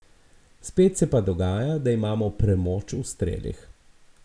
Spet se pa dogaja, da imamo premoč v strelih.